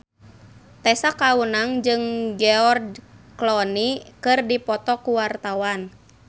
Tessa Kaunang jeung George Clooney keur dipoto ku wartawan